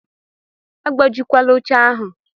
Agbajikwala oche ahụ!